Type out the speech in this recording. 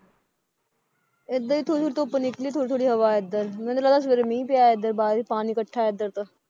ਇੱਧਰ ਵੀ ਥੋੜ੍ਹੀ ਥੋੜ੍ਹੀ ਧੁੱਪ ਨਿਕਲੀ ਥੋੜ੍ਹੀ ਥੋੜ੍ਹੀ ਹਵਾ ਹੈ ਇੱਧਰ, ਮੈਨੂੰ ਤਾਂ ਲੱਗਦਾ ਸਵੇਰੇ ਮੀਂਹ ਪਿਆ ਹੈ ਇੱਧਰ ਬਾਹਰ ਹੀ ਪਾਣੀ ਇਕੱਠਾ ਹੈ ਇੱਧਰ ਤੋ